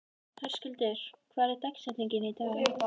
Höskuldur, hver er dagsetningin í dag?